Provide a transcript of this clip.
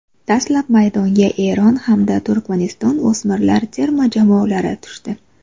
Dastlab maydonga Eron hamda Turkmaniston o‘smirlar terma jamoalari tushdi.